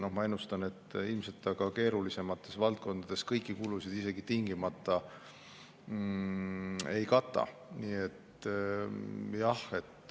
Ma ennustan, et ilmselt see keerulisemates valdkondades isegi kõiki kulusid tingimata ei kata.